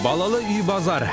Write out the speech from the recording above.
балалы үй базар